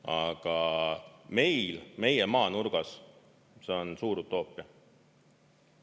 Aga meil, meie maanurgas, see on suur utoopia.